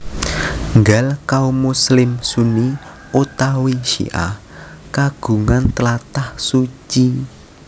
Nggal kaum muslim Sunni utawi Syi ah kagungan tlatah suci